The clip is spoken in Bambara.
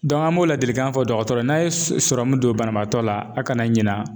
an b'o ladilikan fɔ dɔgɔtɔrɔ ye. N'a ye don banabaatɔ la a kana ɲina.